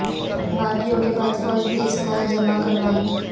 باغیوں کے بعد فوج بھی اسلحہ جمع کروائے گی